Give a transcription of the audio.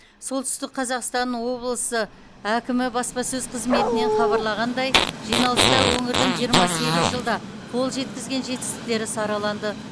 солтүстік қазақстан облысы әкімі баспасөз қызметінен хабарлағандай жиналыста өңірдің жиырма сегіз жылда қол жеткізген жетістіктері сараланды